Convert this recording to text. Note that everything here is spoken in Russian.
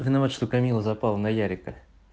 кто виноват что камила запала на ярика